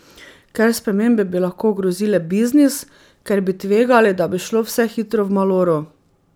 Ker spremembe bi lahko ogrozile biznis, ker bi tvegali, da bi šlo vse hitro v maloro.